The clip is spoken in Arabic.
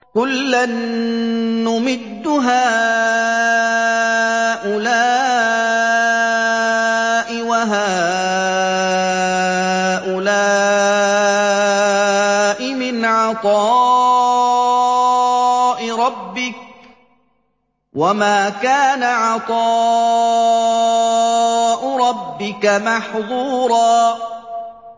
كُلًّا نُّمِدُّ هَٰؤُلَاءِ وَهَٰؤُلَاءِ مِنْ عَطَاءِ رَبِّكَ ۚ وَمَا كَانَ عَطَاءُ رَبِّكَ مَحْظُورًا